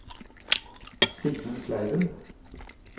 Sigmund Kleiven